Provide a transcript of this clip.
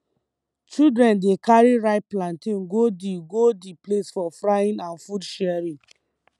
children dey carry ripe plantain go the go the place for frying and food sharing